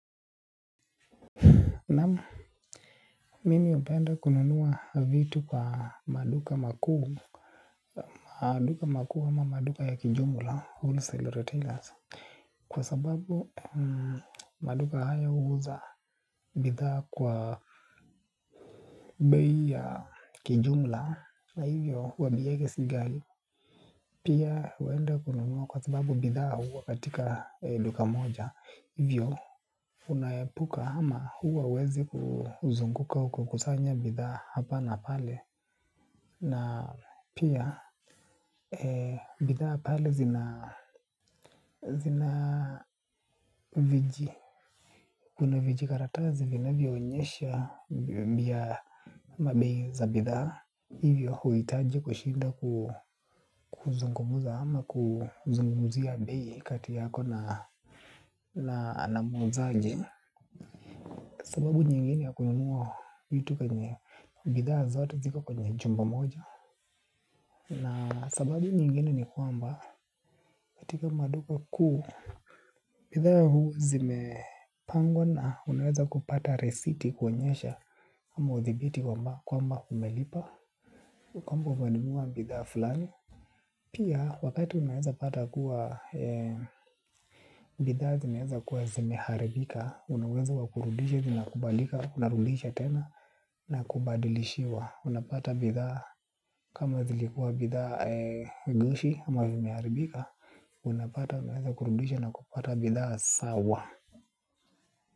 Naam, mimi hupenda kununua vitu kwa maduka makuu. Maduka makuu ama maduka ya kijumla, wholesale retailers. Kwa sababu maduka haya huuza bidhaa kwa bei ya kijumla. Na hivyo, huwa bei yake si ghali. Pia, huenda kununua kwa sababu bidhaa huwa katika duka moja. Hivyo, unaepuka ama huwa huwezi kuzunguka uko kusanya bidhaa hapa na pale. Na pia bidhaa pale zina viji. Kuna vijikaratazi vinavyoonyesha bia mabe za bidhaa. Hivyo huhitaji kushinda kuzungumuza ama kuzungumuza ya bei kati yako na muuzaji. Sababu nyingine ya kununua vitu kwenye bidhaa zote ziko kwenye chumba moja. Na sababu nyingine ni kwamba, katika maduka kuu, bidhaa huu zimepangwa na unaweza kupata risiti kuonyesha kwamba umelipa, kwamba umenunua bidhaa fulani. Pia, wakati unaweza pata kuwa, bidhaa zimeweza kuwa zimeharibika. Una uwezo wa kurudisha, zinakubalika, unarudisha tena na kubadilishiwa. Unapata bidhaa kama zilikuwa bidhaa gushi ama vimearibika. Unapata unaeza kurudisha na kupata bidhaa sawa.